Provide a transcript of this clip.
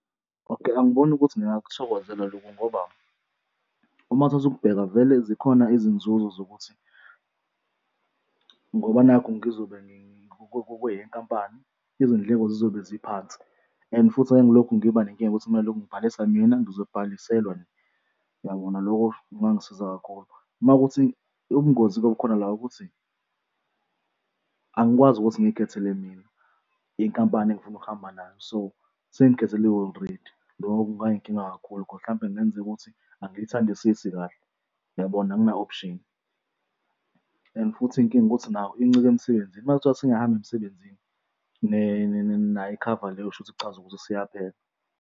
Okay, angiboni ukuthi ngingakuthokozela loku ngoba, uma uthatha ukubheka vele zikhona izinzuzo zokuthi ngoba nakhu ngizobe kweyenkampani, izindleko zizobe ziphansi and futhi ngangilokhu ngiba nenkinga yokuthi kunalokho ngibhalise mina, ngizobhaliselwa, yabona? Loko kungangisiza kakhulu. Uma kuwukuthi ubungozi kube khona la ukuthi angikwazi ukuthi ngiy'khethele mina inkampani engifuna ukuhamba nayo, so sengikhetheliwe already loko kungayinkinga kakhulu cause mhlawumpe kungenzeka ukuthi angiyithandisisi kahle, yabona? Angina-option and futhi inkinga ukuthi nayo incike emsebenzini, uma kuthiwa sengiyahamba emsebenzini nayo ikhava leyo shuthi kuchaza ukuthi siyaphila.